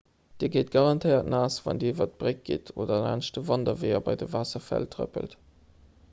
dir gitt garantéiert naass wann dir iwwer d'bréck gitt oder laanscht de wanderweeër bei de waasserfäll trëppelt